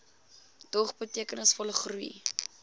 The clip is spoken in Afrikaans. dog betekenisvolle groei